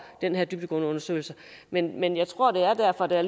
den her dybdegående undersøgelse men men jeg tror at der er derfor at det er